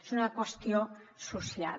és una qüestió social